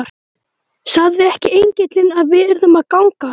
Sagði ekki engillinn að við yrðum að ganga?